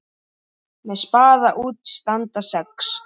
Með spaða út standa sex.